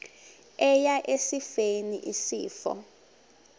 eya esifeni isifo